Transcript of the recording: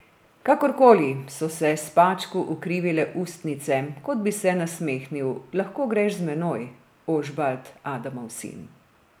Kakorkoli, so se spačku ukrivile ustnice, kot bi se nasmehnil, lahko greš za menoj, Ožbalt, Adamov sin.